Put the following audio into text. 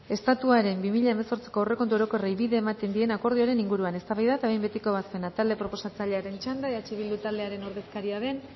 estatuaren bi mila hemezortziko aurrekontu orokorrei bide ematen dien akordioaren inguruan eztabaida eta behin betiko ebazpena talde proposatzailearen txanda eh bildu taldearen ordezkaria den